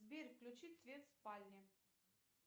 сбер включи свет в спальне